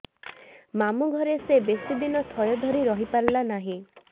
ମାମୁଁ ଘରେ ସେ ବେଶିଦିନ ଥୟ ଧରି ରହିପାରିଲା ନାହିଁ